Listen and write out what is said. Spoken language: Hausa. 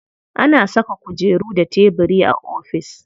Ana saka kujeru da tebiri a ofis.